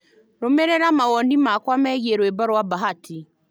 Rũmĩrĩra mawoni makwa megiĩ rwĩmbo rwa bahati